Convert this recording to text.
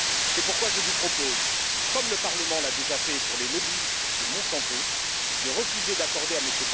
C'est pourquoi je vous propose, comme le Parlement l'a déjà fait pour les lobbyistes de Monsanto, de refuser d'accorder à M.